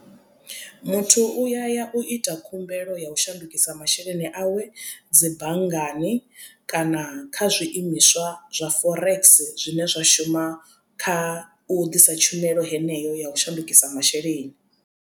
Muthu uya ya u ita khumbelo ya u shandukisa masheleni awe dzi banngani kana kha zwiimiswa zwa forex zwine zwa shuma kha u ḓisa tshumelo heneyo ya u shandukisa masheleni.